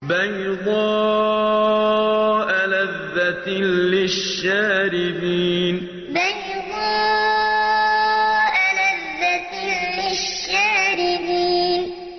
بَيْضَاءَ لَذَّةٍ لِّلشَّارِبِينَ بَيْضَاءَ لَذَّةٍ لِّلشَّارِبِينَ